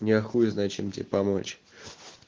я хуй знает чем тебе помочь